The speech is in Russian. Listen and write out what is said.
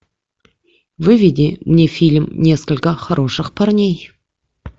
выведи мне фильм несколько хороших парней